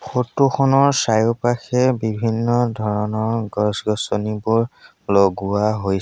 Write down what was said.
photo খনৰ চাৰিওপাশে বিভিন্ন ধৰণৰ গছ গছনিবোৰ লগোৱা হৈছ--